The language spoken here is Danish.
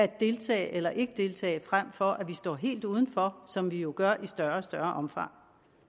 deltage eller ikke deltage frem for at vi står helt udenfor som vi jo gør i større og større omfang